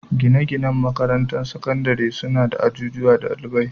Gine-ginen makarantun sakandare suna da ajujuwan dalibai.